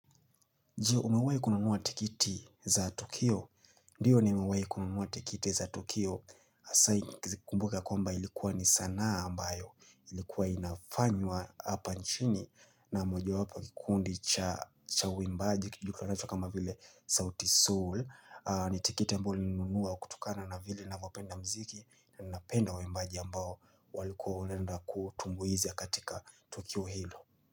Je, umewai kununua tikiti za Tukio? Ndiyo nimewaikununua tikiti za Tukio hasa kizikumbuka kwa mba ilikuwa ni sanaa ambayo Ilikuwa inafanywa hapa nchini na moja wapu kikundi cha waimbaji Kijukla nashu kama vile Souti Sol ni tikiti ambao nilinunua kutokana na vile navopenda mziki Nanapenda waimbaji ambayo walikuwa olenda kutumwezi ya katika Tukio Hilo.